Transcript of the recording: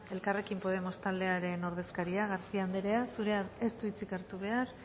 elkarrekin podemos taldearen ordezkaria garcía andreak ez du hitzik hartu behar